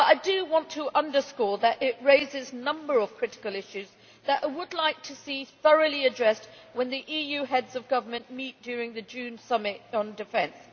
But I do want to underscore that it raises a number of critical issues that I would like to see thoroughly addressed when the EU Heads of Government meet during the June summit on defence.